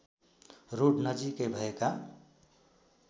road नजिकै भएका